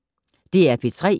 DR P3